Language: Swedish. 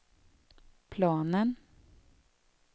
planen